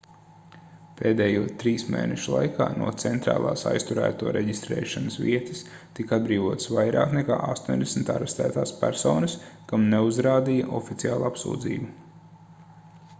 pēdējo 3 mēnešu laikā no centrālās aizturēto reģistrēšanas vietas tika atbrīvotas vairāk nekā 80 arestētās personas kam neuzrādīja oficiālu apsūdzību